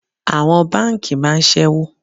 Àwọn báńkì máa ń sẹ́wó.